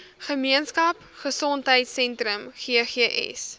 gemeenskap gesondheidsentrum ggs